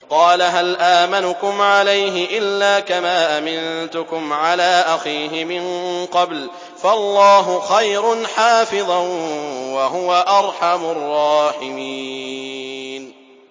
قَالَ هَلْ آمَنُكُمْ عَلَيْهِ إِلَّا كَمَا أَمِنتُكُمْ عَلَىٰ أَخِيهِ مِن قَبْلُ ۖ فَاللَّهُ خَيْرٌ حَافِظًا ۖ وَهُوَ أَرْحَمُ الرَّاحِمِينَ